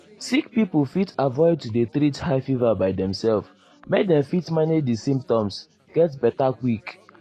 sick pipo fit avoid to dey treat high fever by demself make dem fit manage di symptoms get beta quick.